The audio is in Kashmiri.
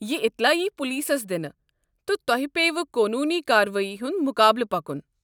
یہ اطلاع ییہ پُلسس دِنہٕ، تہٕ تۄہہ پیٚیوٕ قونوٗنی کاروٲیی ہُنٛد مُقابلہٕ پکُن۔